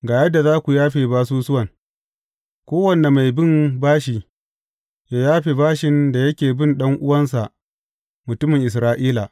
Ga yadda za ku yafe basusuwan, kowane mai bin bashi, yă yafe bashin da yake bin ɗan’uwansa mutumin Isra’ila.